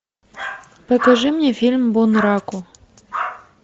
покажи мне фильм бунраку